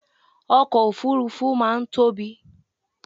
ọkọ̀ òfurufú máà ń tóbi